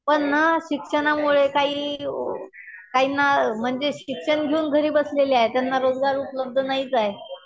पण ना शिक्षणामुळे काही काहींना म्हणजे शिक्षण घेऊन घरी बसलेले आहे. त्यांना रोजगार उपलब्ध नाहीच आहे.